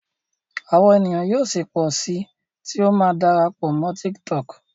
awọn ènìyàn yíò sí pọ sí tí o má dára pọ Mọ TikTok.